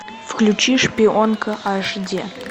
включи шпионка аш ди